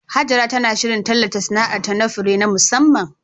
Hajara tana shirin tallata sana'arta na fure na musamman